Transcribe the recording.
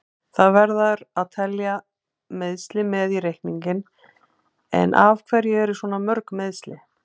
Það verður að telja meiðsli með í reikninginn, en af hverju eru svona mörg meiðsli?